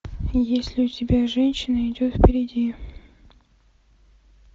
есть ли у тебя женщина идет впереди